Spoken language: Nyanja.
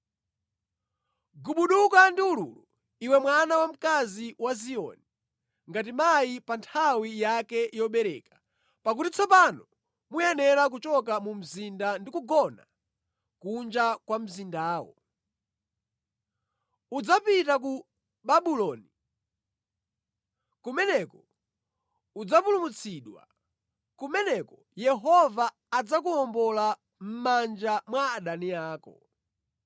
Gubuduka ndi ululu, iwe mwana wamkazi wa Ziyoni, ngati mayi pa nthawi yake yobereka, pakuti tsopano muyenera kuchoka mu mzinda ndi kugona kunja kwa mzindawo. Udzapita ku Babuloni; kumeneko udzapulumutsidwa, kumeneko Yehova adzakuwombola mʼmanja mwa adani ako.